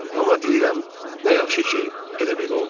Amma deyirəm, nə yaxşı ki, elə belə oldu.